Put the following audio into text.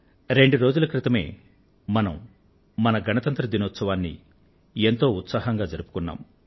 రెండు రోజుల క్రితమే మనం మన గణతంత్ర దినోత్సవాన్ని ఎంతో ఉత్సాహంగా జరుపుకున్నాం